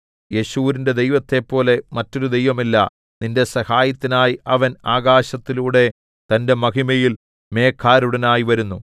യെശുരൂന്റെ ദൈവത്തെപ്പോലെ മറ്റൊരു ദൈവവുമില്ല നിന്റെ സഹായത്തിനായി അവൻ ആകാശത്തിലൂടെ തന്റെ മഹിമയിൽ മേഘാരൂഢനായി വരുന്നു